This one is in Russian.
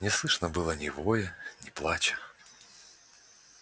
не слышно было ни воя ни плача